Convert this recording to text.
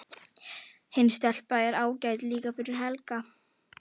Hin stelpan er ágæt líka fyrir Helga.